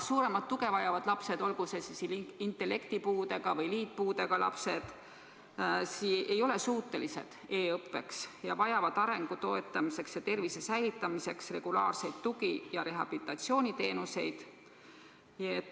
Suuremat tuge vajavad lapsed, olgu siis intellekti- või liitpuudega lapsed, ei ole suutelised e-õppeks ning nad vajavad arengu toetamiseks ja tervise säilitamiseks regulaarseid tugi- ja rehabilitatsiooniteenuseid.